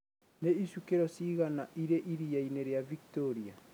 Nĩ ĩcukĩro cigana irĩ ĩriainĩ ria Victoria?